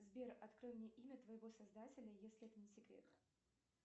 сбер открой мне имя твоего создателя если это не секрет